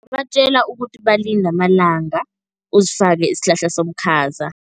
Ungabatjela ukuthi balinde amalanga, uzifake isihlaha somkhaza.